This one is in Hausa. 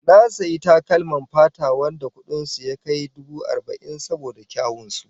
Na sayi takalman fata wadanda kudin su ya kai dubu arba'in saboda kyawun su